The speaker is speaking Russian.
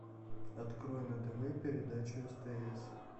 открой на тв передачу стс